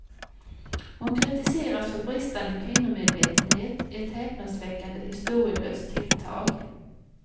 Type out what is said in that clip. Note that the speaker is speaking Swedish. Hon kritiseras för bristande kvinnomedvetenhet, ett häpnadsväckande historielöst tilltag.